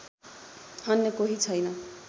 अन्य कोही छैन